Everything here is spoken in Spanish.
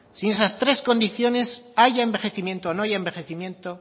sí esas tres condiciones haya envejecimiento o no haya envejecimiento